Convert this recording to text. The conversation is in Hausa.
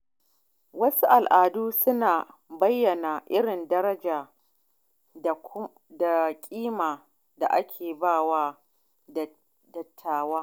Wasu al’adu suna bayyana irin daraja da kima da ake ba wa dattawa.